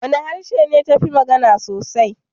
Wane harshe ne ta fi magana sosai?